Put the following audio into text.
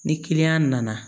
Ni nana